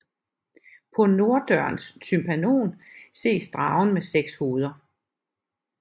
På norddørens tympanon ses dragen med seks hoveder